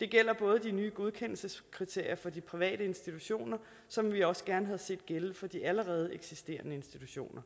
det gælder de nye godkendelseskriterier for de private institutioner som vi også gerne havde set gælde for de allerede eksisterende institutioner